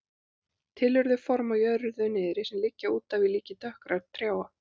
Til eru þau form á jörðu niðri sem liggja útaf í líki dökkra trjáa.